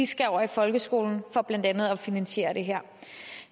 skal over i folkeskolen for blandt andet at finansiere det her